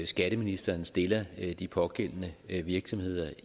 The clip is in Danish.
skatteministeren stiller de pågældende virksomheder